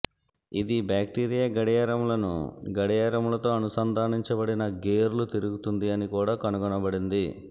ఇది బాక్టీరియా గడియారములను గడియారములతో అనుసంధానించబడిన గేర్లు తిరుగుతుంది అని కూడా కనుగొనబడింది